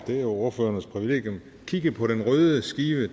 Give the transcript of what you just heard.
det er jo ordførernes privilegium kigge på den røde skive